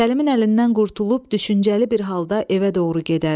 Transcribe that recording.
Səlimin əlindən qurtulub düşüncəli bir halda evə doğru gedər.